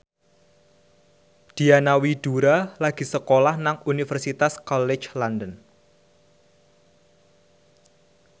Diana Widoera lagi sekolah nang Universitas College London